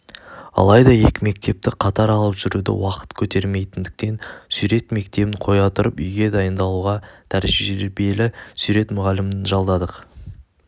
алайда екі мектепті қатар алып жүруді уақыт көтермейтіндіктен сурет мектебін қоя тұрып үйге дайындауға тәжірбиелі сурет мұғалімін жалдадық